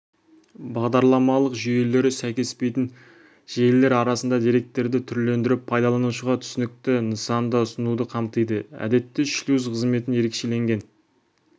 бағдарламалық жүйелері сәйкеспейтін желілер арасында деректерді түрлендіріп пайдаланушыға түсінікті нысанда ұсынуды қамтиды әдетте шлюз қызметін ерекшеленген